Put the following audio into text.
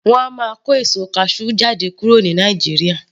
Wọn a máa kó èso kasú jáde kúrò ní Nàìjíríà